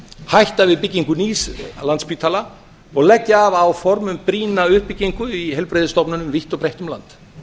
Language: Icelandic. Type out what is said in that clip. hætta við byggingu nýs landspítala og leggja af áform um brýna uppbyggingu á heilbrigðisstofnunum vítt og breitt um land